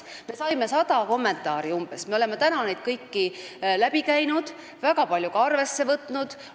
Me saime umbes 100 kommentaari, me oleme need kõik läbi vaadanud, väga paljusid ka arvesse võtnud.